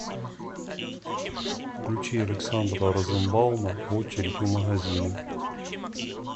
включи александра розенбаума очередь у магазина